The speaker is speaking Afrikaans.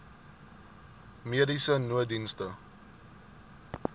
mediese nooddienste